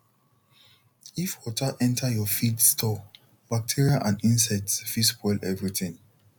if water enter your feed store bacteria and insects fit spoil everything